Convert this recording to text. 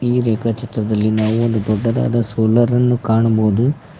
ಈ ರೇಖಚಿತ್ರದಲ್ಲಿ ನಾವು ಒಂದು ದೊಡ್ಡದಾದ ಸೋಲಾರನ್ನು ಕಾಣಬೋದು.